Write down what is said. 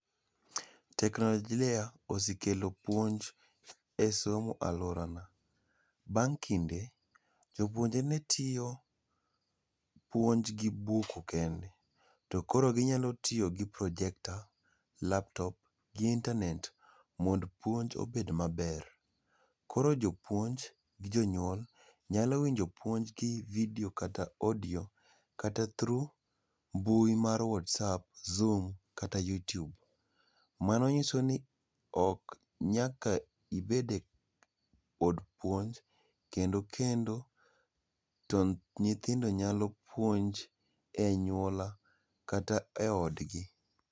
Teknolojia osekelo puonj e somo e aluorana. Bang kinde jopuonje ne tiyo puonj gi buk kende. To koro ginyalo tiyo gi projector, [cslaptop gi internet mondo puonj obed maber. Koro jopuonj gi jonyuol nyalo winjo puonj gi video kata audio[s] kata through mbui mar whatsapp, zoom kata youtube. Mano nyiso ni ok nyaka obede od puonj ,kendo kendo to nyithindo nyalo puonj e anyuola kata e odgi